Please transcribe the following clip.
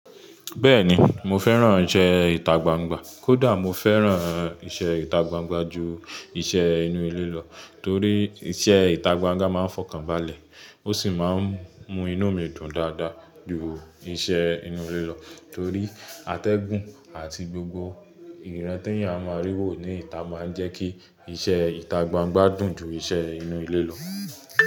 Bẹ́ẹ̀ni mo fẹ́ràn ìṣe ìtagbangba, kódà mo fẹ́ràn ìṣe ìtagbangba ju ìṣe inú ilé lọ torí iṣẹ́ ìtagbangba máa ń fọkàn balẹ̀. Ó sì máa ń mú inú mi dùn dáadáa ju ìṣe inú ilé lọ torí atẹ́gùn àti gbogbo ìran tí èèyàn máa rí wò ní ìta máa ń jẹ́ kí iṣẹ́ ìtagbangba dùn ju iṣẹ́ inú ilé lọ.